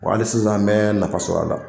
Wa hali sisan an bɛ nafa sɔr'a la.